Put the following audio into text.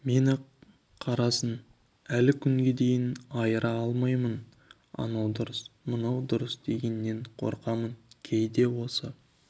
мен ақ-қарасын әлі күнге дейін айыра алмаймын анау дұрыс мынау бұрыс дегеннен қорқамын кейде осы